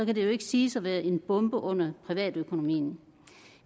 jo ikke siges at være en bombe under privatøkonomien